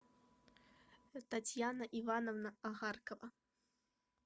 татьяна ивановна агаркова